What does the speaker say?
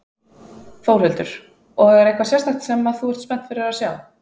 Þórhildur: Og er eitthvað sérstakt sem að þú ert spennt fyrir að sjá?